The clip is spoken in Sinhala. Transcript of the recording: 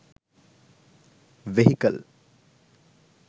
vehicle